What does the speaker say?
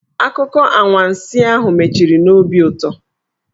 Akụkọ anwansi ahụ mechiri n'obi ụtọ.